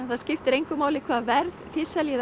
það skiptir engu á hvaða verði þið seljið